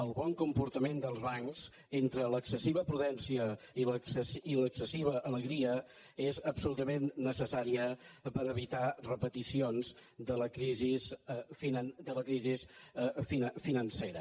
el bon comportament dels bancs entre l’excessiva prudència i l’excessiva alegria és absolutament necessari per evitar repeticions de la crisi financera